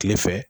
Kile fɛ